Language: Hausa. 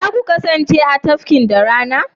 za ku kasance a cikin tafkin da rana?